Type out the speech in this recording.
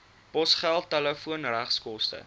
posgeld telefoon regskoste